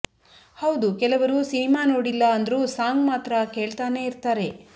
ಹೌದು ಕೆಲವರು ಸಿನಿಮಾ ನೋಡಿಲ್ಲ ಅಂದ್ರು ಸಾಂಗ್ ಮಾತ್ರ ಕೇಳ್ತಾನೆ ಇರ್ತಾರೆ